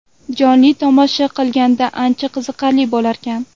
Jonli tomosha qilganda ancha qiziqarli bo‘larkan.